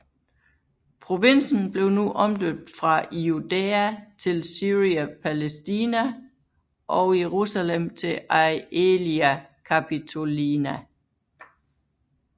Provinsen blev nu omdøbt fra Iudaea til Syria Palaestina og Jerusalem til Aelia Capitolina